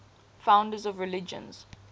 founders of religions